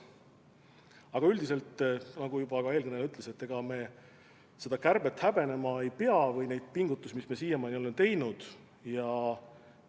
Aga üldiselt, nagu ka eelkõneleja ütles, me oma kärbet või neid pingutusi, mis me siiamaani oleme teinud, häbenema ei pea.